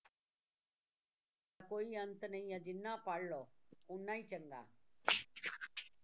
ਕੋਈ ਅੰਤ ਨਹੀਂ ਹੈ ਜਿੰਨਾ ਪੜ੍ਹ ਲਓ ਓਨਾ ਹੀ ਚੰਗਾ